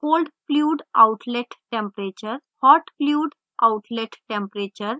cold fluid outlet temperature